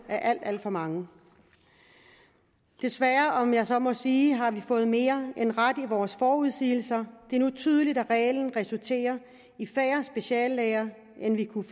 alt alt for mange desværre om jeg så må sige har vi fået mere end ret i vores forudsigelser det er nu tydeligt at reglen resulterer i færre speciallæger end vi kunne